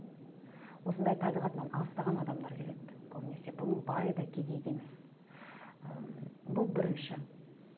осындай табиғатынан алыстаған адамдар келеді көбінесе бұның байы да кедейі де емес ыыы бұл бірінші